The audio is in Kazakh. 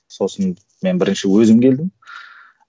сосын мен бірінші өзім келдім